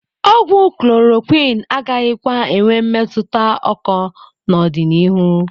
Ogwu klorokwin agakwaghị enwe mmetụta oko n'ọdịniihu.